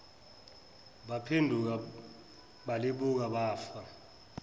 baphenduka balibuka bafa